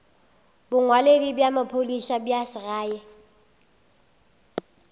bongwaledi bja maphodisa bja segae